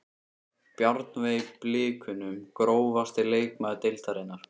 Bjarnveig í blikunum Grófasti leikmaður deildarinnar?